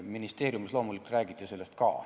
Ministeeriumis loomulikult räägiti sellest ka.